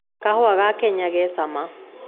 Kahũa ga Kenya ge cama